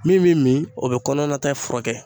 Min bɛ min, o bɛ kɔnɔna ta furakɛ